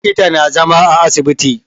Likita na zama a asibiti